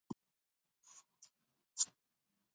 Er það nokkuð Gísli?